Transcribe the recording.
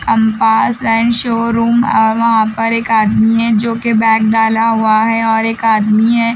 Compass and showroom और वहां पर एक आदमी है जो के बैग डाला हुआ है और एक आदमी है।